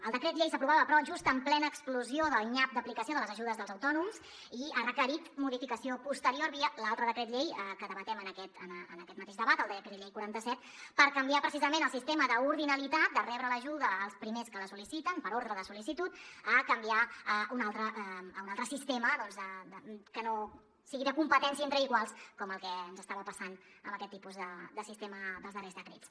el decret llei s’aprovava però just en plena explosió del nyap d’aplicació de les ajudes dels autònoms i ha requerit modificació posterior via l’altre decret llei que debatem en aquest mateix debat el decret llei quaranta set per canviar precisament el sistema d’ordinalitat de rebre l’ajuda els primers que la sol·liciten per ordre de sol·licitud a canviar a un altre sistema doncs que no sigui de competència entre iguals com el que ens estava passant amb aquest tipus de sistema dels darrers decrets